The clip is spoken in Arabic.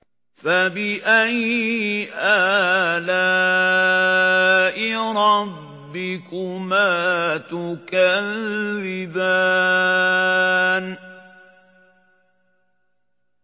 فَبِأَيِّ آلَاءِ رَبِّكُمَا تُكَذِّبَانِ